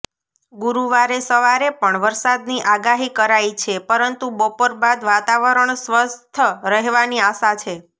ગુરુવારે સવારે પણ વરસાદની આગાહી કરાઈ છે પરંતુ બપોર બાદ વાતાવરણ સ્વસ્થ રહેવાની આશા છે